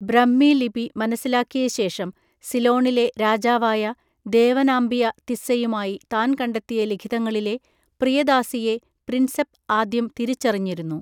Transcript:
ബ്രഹ്മി ലിപി മനസ്സിലാക്കിയ ശേഷം, സിലോണിലെ രാജാവായ ദേവനാമ്പിയ തിസ്സയുമായി താൻ കണ്ടെത്തിയ ലിഖിതങ്ങളിലെ 'പ്രിയദാസി'യെ പ്രിൻസെപ് ആദ്യം തിരിച്ചറിഞ്ഞിരുന്നു.